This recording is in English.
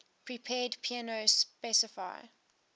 prepared piano specify